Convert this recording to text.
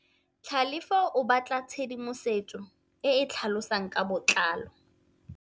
Tlhalefô o batla tshedimosetsô e e tlhalosang ka botlalô.